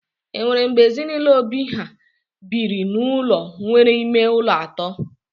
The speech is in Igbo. Enwere mgbe ezinụlọ Obi ha biri n'ụlọ nwere ime ụlọ atọ?